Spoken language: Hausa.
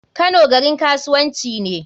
Kano garin kasuwanci ne.